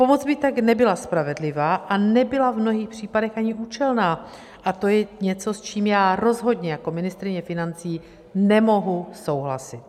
Pomoc by tak nebyla spravedlivá a nebyla v mnohých případech ani účelná a to je něco, s čím já rozhodně jako ministryně financí nemohu souhlasit.